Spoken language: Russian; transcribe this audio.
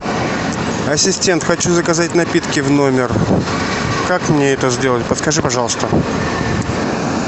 ассистент хочу заказать напитки в номер как мне это сделать подскажи пожалуйста